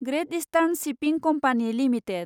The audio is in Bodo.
ग्रेत इष्टार्न शिपिं कम्पानि लिमिटेड